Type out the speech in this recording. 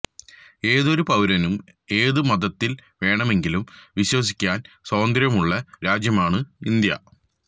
ഏതൊരു പൌരനും ഏത് മതത്തില് വേണമെങ്കിലും വിശ്വസിക്കാന് സ്വാതന്ത്ര്യമുള്ള രാജ്യമാണ് ഇന്ത്യ